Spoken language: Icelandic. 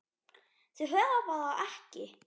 Þau hafa það ekki.